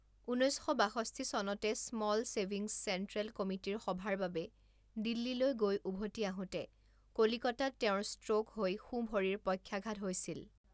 ঊনৈছ শ বাষষ্ঠি চনতে স্মল ছেভিংছ চেণ্ট্ৰেল কমিটিৰ সভাৰ বাবে দিল্লীলৈ গৈ উভতি আহোঁতে কলিকতাত তেওঁৰ ষ্ট্ৰ'ক হৈ সোঁভৰিৰ পক্ষাঘাত হৈছিল।